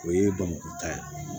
O ye bamakɔ ta ye